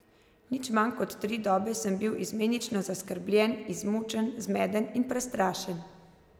Nič manj kot tri dobe sem bil izmenično zaskrbljen, izmučen, zmeden in prestrašen.